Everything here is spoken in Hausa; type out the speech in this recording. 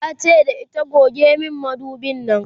tace da ita"goge min madubin Nan!"